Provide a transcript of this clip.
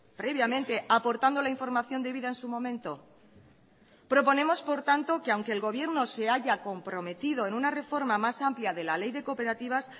previamente aportando la información debida en su momento proponemos por tanto que aunque el gobierno se haya comprometido en una reforma más amplia de la ley de cooperativas